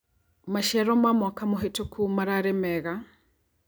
Maciaro ma mwaka mũhetũku mararĩ mega.